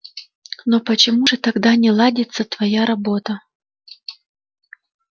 но почему же тогда не ладится твоя работа